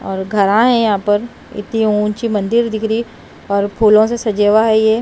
और घर आए यहां पर इतनी ऊंची मंदिर दिख री और फूलों से सजेवा है ये--